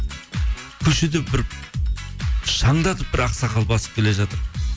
көшеде бір шаңдатып бір ақсақал басып келе жатыр